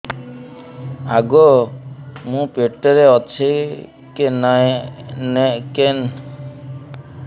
ଆଗୋ ମୁଁ ପେଟରେ ଅଛେ କେନ୍ ଡାକ୍ତର କୁ ଦେଖାମି